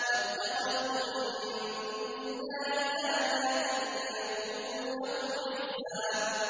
وَاتَّخَذُوا مِن دُونِ اللَّهِ آلِهَةً لِّيَكُونُوا لَهُمْ عِزًّا